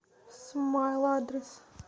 смайл адрес